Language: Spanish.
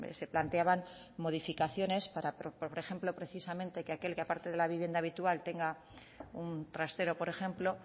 se planteaban modificaciones para por ejemplo precisamente que aquel que aparte de la vivienda habitual tenga un trastero por ejemplo